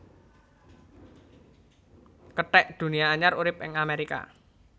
Kethek Dunia anyar urip ing Amerika